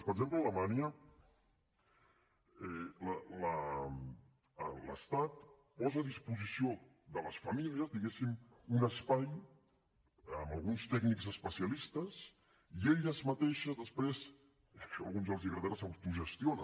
per exemple a alemanya l’estat posa a disposició de les famílies diguéssim un espai amb alguns tècnics especialistes i elles mateixes després això a alguns els agradarà s’autogestionen